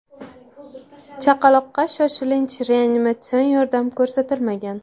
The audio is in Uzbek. Chaqaloqqa shoshilinch reanimatsion yordam ko‘rsatilmagan.